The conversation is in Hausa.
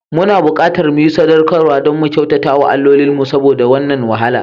Muna buƙatar mu yi sadaukarwa don mu kyauta wa alloli saboda wannan wahala.